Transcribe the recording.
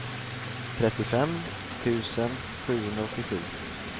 trettiofem tusen sjuhundraåttiosju